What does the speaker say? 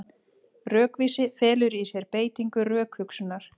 Rökvísi felur í sér beitingu rökhugsunar.